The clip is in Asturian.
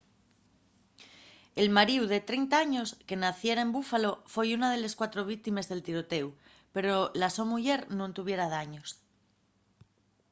el maríu de 30 años que naciera en buffalo foi una de les cuatro víctimes del tirotéu pero la so muyer nun tuviera daños